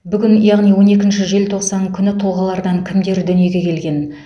бүгін яғни он екінші желтоқсан күні тұлғалардан кімдер дүниеге келген